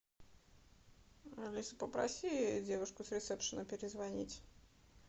алиса попроси девушку с ресепшена перезвонить